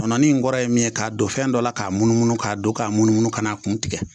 Kɔnɔnɔnin in kɔrɔ ye min ye k'a don fɛn dɔ la k'a munumunu k'a don k'a munumunu ka n'a kun tigɛ